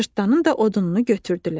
Cırtdanın da odununu götürdülər.